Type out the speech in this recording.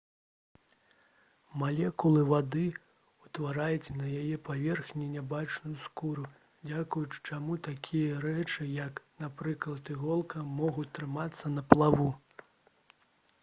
малекулы вады ўтвараюць на яе паверхні нябачную скуру дзякуючы чаму такія рэчы як напрыклад іголка могуць трымацца на плаву